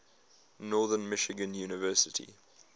northern michigan university